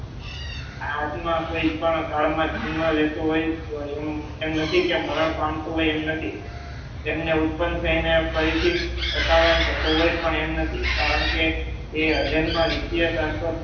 આત્મા કોઈ પણ કાળમાં જન્મ લેતો હોય એમ નથી કે મરણ પામતો હોય એમ નથી તેમને ઉત્પન્ન થઈને ફરીથી સતાવન થતો હોય પણ એમ નથી કારણ કે એ અજન્મ નિત્યસાસ્વત